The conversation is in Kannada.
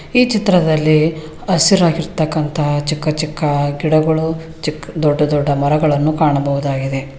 ಈ ಚಿತ್ರದಲ್ಲಿ ಹಸಿರಾಗಿರತಕ್ಕಂತಹ ಚಿಕ್ಕ ಚಿಕ್ಕ ಗಿಡಗಳು ಚಿಕ್ ದೊಡ್ಡ ದೊಡ್ಡ ಮರಗಳನ್ನು ಕಾಣಬಹುದಾಗಿದೆ.